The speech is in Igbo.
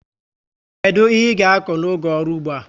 Kedu ihe i ga akọ n'oge ọrụ ụgbọ a?